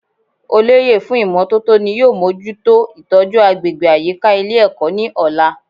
Olóyè fún ìmótótó ni yóò mójútó ìtójú agbègbè àyíká Ilé èkó ní òla